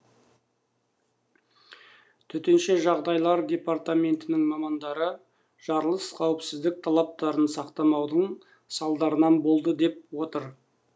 төтенше жағдайлар департаментінің мамандары жарылыс қауіпсіздік талаптарын сақтамаудың салдарынан болды деп отыр